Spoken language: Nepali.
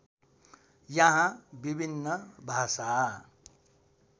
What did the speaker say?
यहाँ विभिन्न भाषा